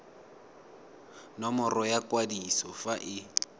nomoro ya kwadiso fa e